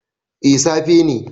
A safe ne